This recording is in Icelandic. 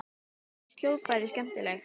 Mér finnst hljóðfræði skemmtileg.